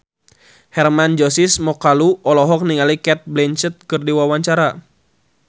Hermann Josis Mokalu olohok ningali Cate Blanchett keur diwawancara